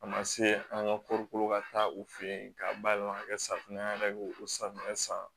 A ma se an ka koko ka taa u fɛ yen k'a bayɛlɛma ka kɛ safunɛ an yɛrɛ b'o o safunɛ san